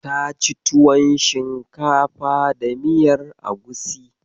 Ta ci tuwan shinkafa da miyar Agusi.